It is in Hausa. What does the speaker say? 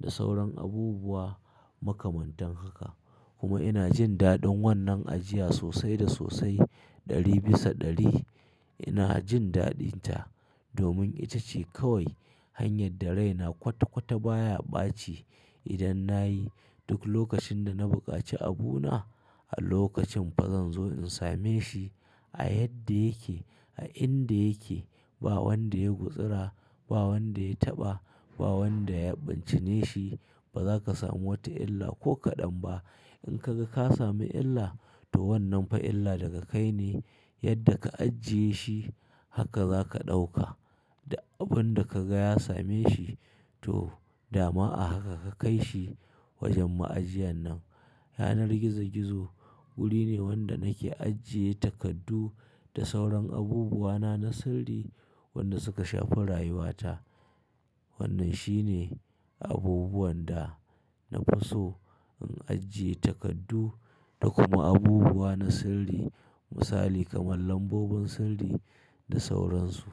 da sauran abubuwa makamantan haka. Kuma ina jin daɗin wannan ajiya sosai da sosai. Ɗari bisa ɗari ina jin daɗinta domin ita ce kawai hanyar da raina kwata-kwata baya ɓaci idan na yi. Duk lokacin da na bukaci abuna, a lokacin fa zan zo in same shi a yadda yake, a inda yake. Ba wanda ya gutsira, ba wanda ya taɓa, ba wanda ya bincine shi. Ba zaka samu wata illa ko kaɗan ba. In ka ga ka samu illa, to wannan fa illa daga kai ne. Yadda ka ajiye shi haka za ka ɗauka. Da abun da ka ga ya same shi, to dama a haka ka kai shi wajen ma'ajiyan nan. Yanar gizo-gizo wuri ne wanda nake ajiye takardu da sauran abubuwana na sirri wanda suka shafi rayuwa ta. Wannan shine abubuwan da nafi so in ajiye takardu da kuma abubuwa na sirri Misali kamar lambobin sirri da sauransu.